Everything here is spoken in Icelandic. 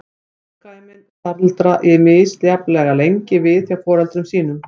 Afkvæmin staldra misjafnlega lengi við hjá foreldrum sínum.